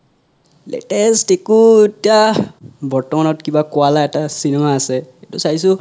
latest একো এতিয়া বৰ্তমানত কিবা কোৱালা এ টা cinema আছে সেইটো চাইছো